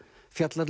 fjallar